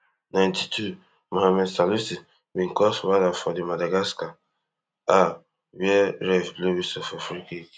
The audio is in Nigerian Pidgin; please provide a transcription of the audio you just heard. ninety-twomohammed salisu bin cause wahala for di madagascar are wey ref blow whistle for freekick